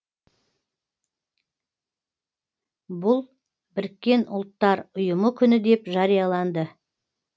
бұл біріккен ұлттар ұйымының күні деп жарияланды